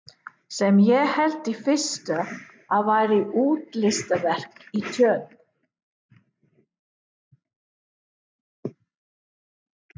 Sem ég hélt í fyrstu að væri útilistaverk í tjörn.